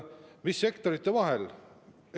Mis sektorite vahel see jaotatakse?